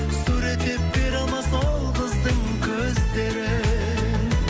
суреттеп бере алмас ол қыздың көздерін